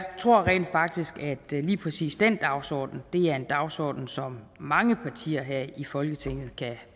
tror rent faktisk at lige præcis den dagsorden er en dagsorden som mange partier her i folketinget kan